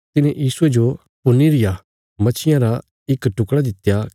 तिन्हे यीशुये जो भुन्नी रिया मच्छीया रा इक टुकड़ा दित्या